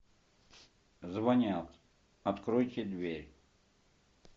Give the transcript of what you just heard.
звонят откройте дверь